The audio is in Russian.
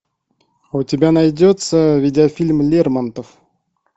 у тебя найдется видеофильм лермонтов